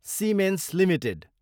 Siemens Ltd